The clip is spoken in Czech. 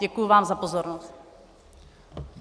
Děkuji vám za pozornost.